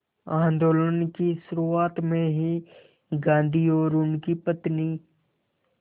आंदोलन की शुरुआत में ही गांधी और उनकी पत्नी